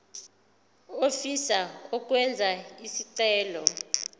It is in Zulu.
ofisa ukwenza isicelo